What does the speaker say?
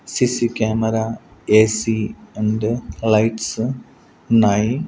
CC camera A C and lights ఉన్నాయి.